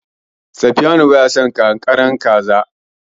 Sifiyanu baya son ƙanƙararriyar kaza.